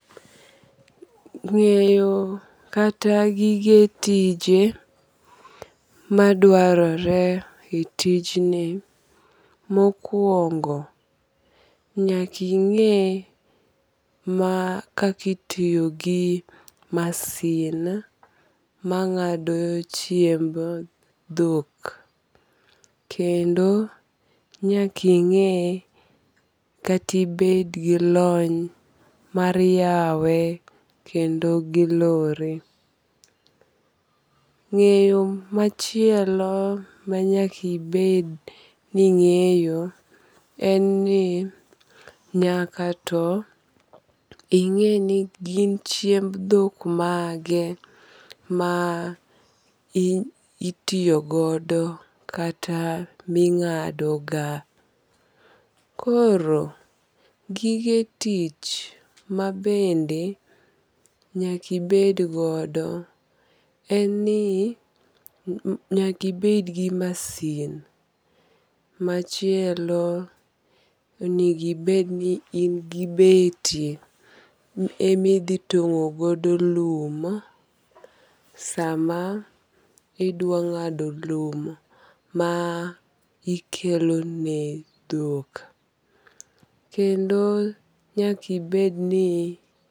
Ng'eyo kata gige tije madwarore e tij ni mokuongo nyaking'e ma kakitiyo gi masin mang'ado chiemb dhok. Kendo nyaking'e kati ibed gi lony mar yawe kendo gi lore. Ng'eyo machielo manyaki bed ning'eyo en ni nyaka to ing'e ni gin chiemb dhok mage ma itiyogodo kata ming'ado ga. Koro gige tich mabende nyakibed godo en ni nyakibed gi masin. Machielo onegi bed ni in gi beti emi dhi tong'o godo lum sama idwa ng'ado lum ma ikelo ne dhok. Kendo nyakibed ni.